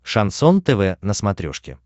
шансон тв на смотрешке